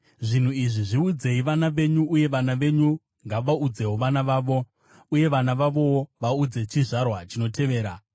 Zvinhu izvi zviudzei vana venyu, uye vana venyu ngavaudzewo vana vavo, vana vavowo vaudze chizvarwa chinotevera.